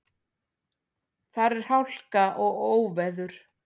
Þar er hálka og óveður.